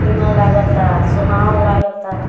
इ मन लागाता सुहान लगता।